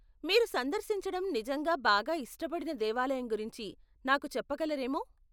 మీరు సందర్శించడం నిజంగా బాగా ఇష్టపడిన దేవాలయం గురించి నాకు చెప్పగలరేమో.